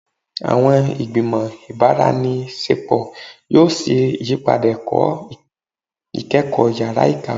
Awọn igbimọ ibaraenisepo yoo ṣe iyipada ẹkọ ikẹkọ yara ikawe